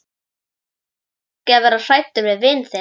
Þú þarft ekki að vera hræddur við vin þinn.